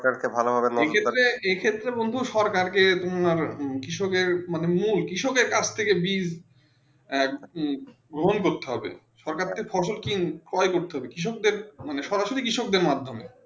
ভাবলো ভাবে এই ক্ষেত্রে বন্ধু সরকার কে মূল মানে কৃষক কাজ থেকে বীজ গ্রহণ করতে হবে সরকার কে ফসল ক্রয়ে করতে হবে সোজাসোজি কৃষকদর মাধ্যমেই